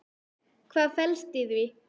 Hvað felst í því?